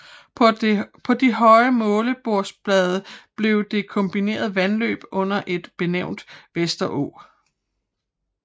På de høje målebordsblade blev det kombinerede vandløb under et benævnt Vesterå